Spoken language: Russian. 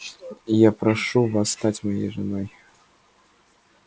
я прошу вас стать моей женой